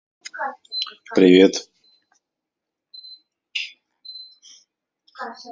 привет